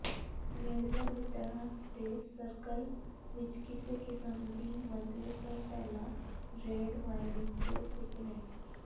ਨੇੜਲੇ ਮਿੱਤਰਾਂ ਦੇ ਸਰਕਲ ਵਿੱਚ ਕਿਸੇ ਕਿਸਮ ਦੀ ਮਜ਼ੇ ਤੋਂ ਪਹਿਲਾਂ ਰੈੱਡ ਵਾਈਨ ਦੇ ਸੁਪਨੇ